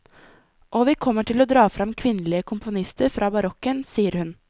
Og vi kommer til å dra frem kvinnelige komponister fra barokken, sier hun.